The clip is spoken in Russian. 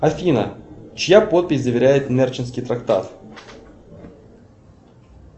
афина чья подпись заверяет нерчинский трактат